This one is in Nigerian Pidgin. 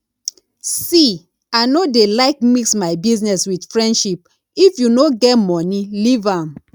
see i no dey like mix my business with friendship if you no get money leave am